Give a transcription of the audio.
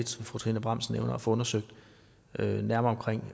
fru trine bramsen nævner og få undersøgt nærmere